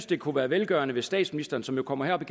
det kunne være velgørende hvis statsministeren som jo kommer herop